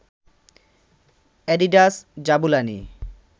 Adidas Jabulani